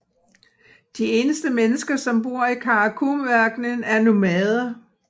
De eneste mennesker som bor i Karakumørkenen er nomader